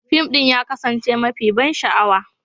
Fim ɗin ya kasance mafi ban sha'awa.